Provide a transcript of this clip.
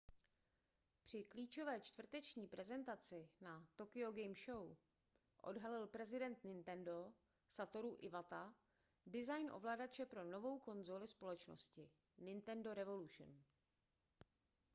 při klíčové čtvrteční prezentaci na tokyo game show odhalil prezident nintendo satoru iwata design ovladače pro novou konzoli společnosti nintendo revolution